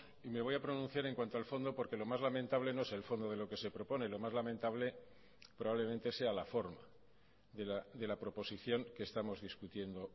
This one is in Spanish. y me voy a pronunciar en cuanto al fondo porque lo más lamentable no es el fondo de lo que se propone lo más lamentable probablemente sea la forma de la proposición que estamos discutiendo